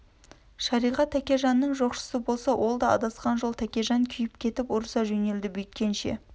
шариғат тәкежанның жоқшысы болса ол да адасқан жол тәкежан күйіп кетіп ұрыса жөнелді бүйткенше